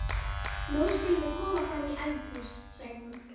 Nú skulum við koma fram í eldhús, sagði hún.